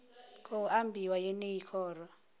khou ambiwa kha yeneyi khoro